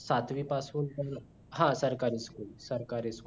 सातवी पासून हा सरकारी school सरकारी school